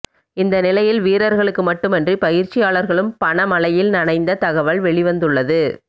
இந்த நிலையில் வீரர்களுக்கு மட்டுமின்றி பயிற்சியாளர்களும் பணமழையில் நனைந்த தகவல் வெளிவந்துள்ளது